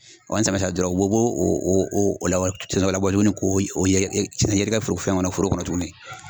ni samiya sera dɔrɔn u b'o b'o o o o labɔ tuguni k'o yɛ yɛ yɛrɛgɛ foro fɛn foro kɔnɔ tuguni